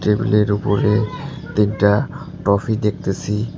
Table -এর উপরে তিনটা ট্রফি দেখতেসি।